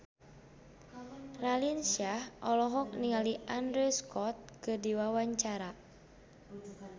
Raline Shah olohok ningali Andrew Scott keur diwawancara